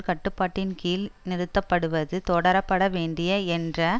கட்டுப்பாட்டின்கீழ் நிறுத்தப்படுவது தொடரப்பட வேண்டிய என்ற